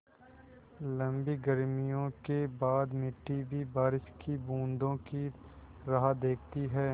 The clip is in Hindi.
लम्बी गर्मियों के बाद मिट्टी भी बारिश की बूँदों की राह देखती है